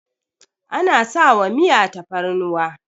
ana sawa Miya fatarnuwa